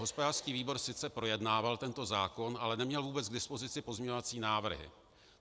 Hospodářský výbor sice projednával tento zákon, ale neměl vůbec k dispozici pozměňovací návrhy.